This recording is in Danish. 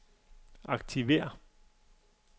aktiver